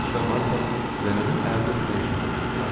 Potapıç və Marfa nənənin əlini öpmək üçün atıldılar.